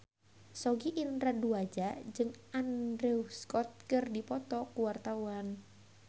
Sogi Indra Duaja jeung Andrew Scott keur dipoto ku wartawan